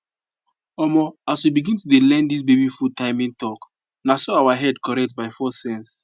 omo as we begin to learn this baby food timing talk na so our head correct by force sense